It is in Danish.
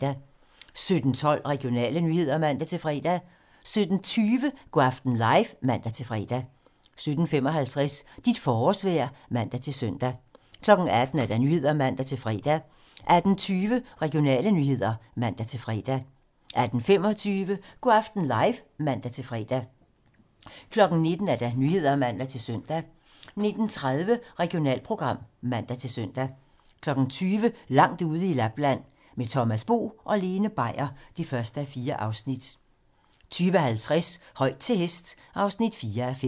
17:12: Regionale nyheder (man-fre) 17:20: Go' aften live (man-fre) 17:55: Dit forårsvejr (man-søn) 18:00: 18 Nyhederne (man-fre) 18:20: Regionale nyheder (man-fre) 18:25: Go' aften live (man-fre) 19:00: 19 Nyhederne (man-søn) 19:30: Regionalprogram (man-søn) 20:00: Langt ude i Lapland - Med Thomas Bo og Lene Beier (1:4) 20:50: Højt til hest (4:5)